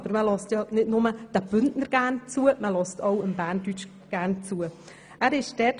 Aber man hört ja nicht nur den Bündner Dialekt sehr gern, sondern eben auch den Berndeutschen.